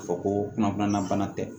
Ka fɔ ko kunnafoniya bana tɛ